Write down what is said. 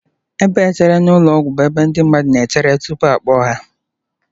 Ebe echere na ụlọ ọgwụ bụ ebe ndị mmadụ na-echere tupu akpọọ ha